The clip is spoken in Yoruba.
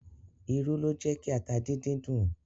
Irú ló jẹ́ ki ata díndín dùn.